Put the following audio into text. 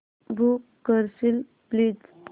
book करशील please